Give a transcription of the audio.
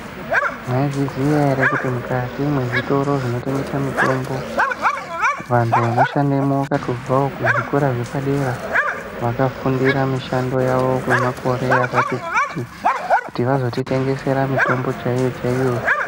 Maizviziya here kuti mukati mezvitoro zvinotengese mitombo, vantu vanoshandemo vakatobvawo kuzvikora zvepadera, vakafundira mishando yavo kwemakore akati kuti, kuti vazotitengesera mitombo chaiyo-chaiyo.